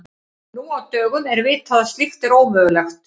Nú á dögum er vitað að slíkt er ómögulegt.